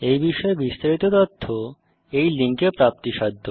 এই বিষয়ে বিস্তারিত তথ্য এই লিঙ্কে প্রাপ্তিসাধ্য